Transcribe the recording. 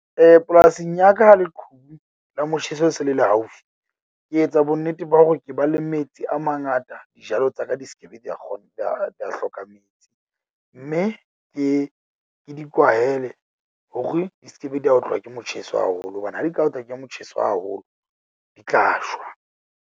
Polasing ya ka, ha leqhubu la motjheso se le le haufi, ke etsa bonnete ba hore ke ba le metsi a mangata. Dijalo tsa ka di skebe dia di a hloka metsi mme ke, ke di kwahele hore di skebe di a otlwa ke motjheso haholo hobane ha di ka otlwa ke motjheso haholo, di tla shwa.